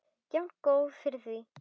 En jafngóð fyrir því!